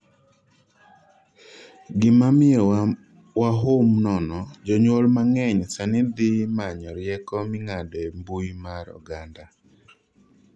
gima miyowa wahum nono, jonyuol mang'eny sani dhi manyo rieko ming'ado e mbui mar oganda